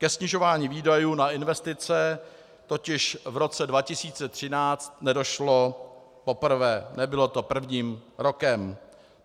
Ke snižování výdajů na investice totiž v roce 2013 nedošlo poprvé, nebylo to prvním rokem.